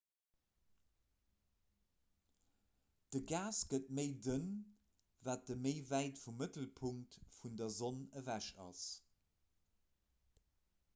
de gas gëtt méi dënn wat ee méi wäit vum mëttelpunkt vun der sonn ewech ass